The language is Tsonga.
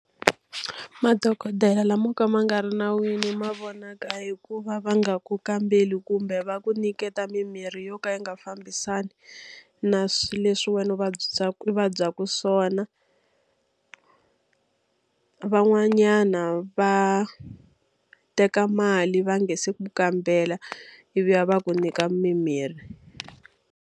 Madokodela lama mo ka ma nga ri nawini ma vonaka hi ku va va nga ku kambeli kumbe va ku nyiketa mimirhi yo ka yi nga fambisani na swilo leswi wena u u vabyaka swona. Van'wanyana va teka mali va nga se ku kambela, ivi va ku nyika mimirhi.